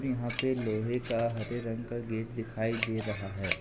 यहां पे लोहे का हरे रंग का गेट दिखाई दे रहा है।